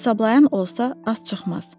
Hesablayan olsa az çıxmaz.